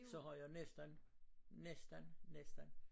Så har jeg næsten næsten næsten